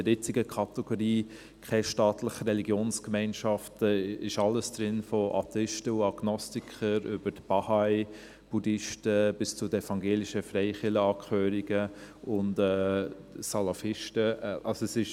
In der jetzigen Kategorie «keine staatliche Religionsgemeinschaft» ist alles von Atheisten und Agnostikern über Bahai, Buddhisten bis zu den evangelischen Freikirchenangehörigen und Salafisten enthalten.